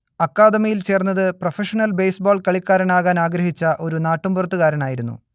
അക്കാദമിയിൽചേർന്നത് professional baseball കളിക്കാരനാകാൻ ആഗ്രഹിച്ച ഒരു നാട്ടുമ്പുറത്തുകാരനായിരുന്നു